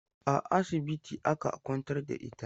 A asibiti aka kwantar da ita?